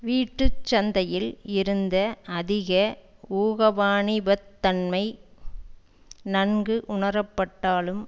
வீட்டு சந்தையில் இருந்த அதிக ஊகவாணிபத்தன்மை நன்கு உணரப்பட்டாலும்